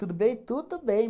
Tudo bem? Tudo bem.